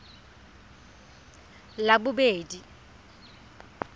labobedi